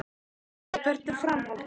Lillý: Hvert er framhaldið?